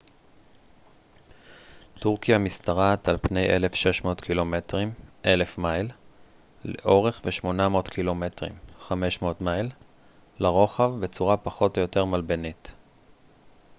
"טורקיה משתרעת על פני 1,600 קילומטרים 1,000 מייל לאורך ו-800 ק""מ 500 מייל לרוחב בצורה פחות או יותר מלבנית.